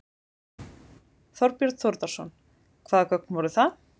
Þorbjörn Þórðarson: Hvaða gögn voru það?